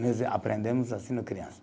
Nós eh, aprendemos assim no criança.